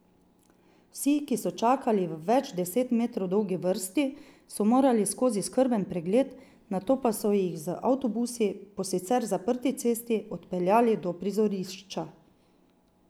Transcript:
Vsi, ki so čakali v več deset metrov dolgi vrsti, so morali skozi skrben pregled, nato pa so jih z avtobusi po sicer zaprti cesti odpeljali do prizorišča.